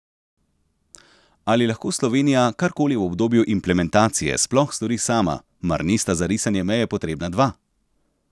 Ali lahko Slovenija karkoli v obdobju implementacije sploh stori sama, mar nista za risanje meje potrebna dva?